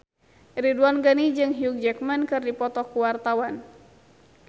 Ridwan Ghani jeung Hugh Jackman keur dipoto ku wartawan